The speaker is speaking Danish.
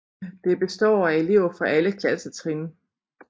Det består af elever fra alle klassetrin